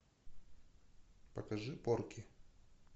покажи порки